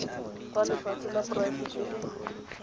fa lefatshe la poraefete le